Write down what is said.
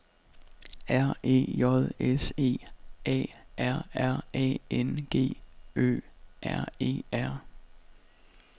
R E J S E A R R A N G Ø R E R